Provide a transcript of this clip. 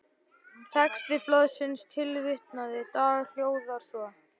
Texti blaðsins tilvitnaðan dag hljóðar svo